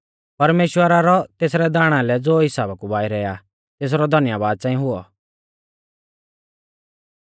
परमेश्‍वरा रौ तेसरै दाणा लै ज़ो हिसाबा कु बाइरै आ तेसरौ धन्यबाद च़ांई हुऔ